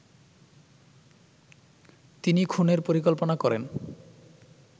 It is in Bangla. তিনি খুনের পরিকল্পনা করেন